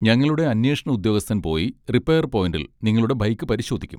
ഞങ്ങളുടെ അന്വേഷണ ഉദ്യോഗസ്ഥൻ പോയി റിപ്പയർ പോയിന്റിൽ നിങ്ങളുടെ ബൈക്ക് പരിശോധിക്കും.